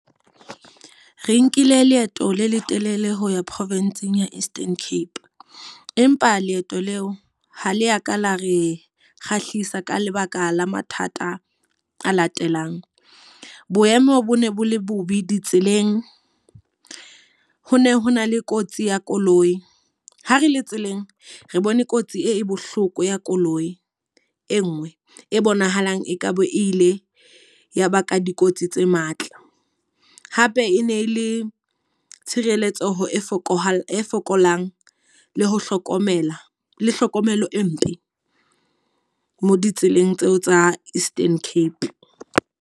Re nkile leeto le letelele ho ya province-ng ya Eastern Cape. Empa leeto leo ha le ya ka lo re kgahlisa ka lebaka la mathata a latelang. Boemo bo ne bo le bobe ditseleng. Ho ne ho na le kotsi ya koloi, ha re le tseleng re bone kotsi e bohloko ya koloi e nngwe. E bonahalang e ka be e ile ya baka dikotsi tse matla. Hape e ne le tshireletso e fokola fokolang, le ho hlokomela le hlokomelo e mpe mo ditseleng tseo tsa Eastern Cape.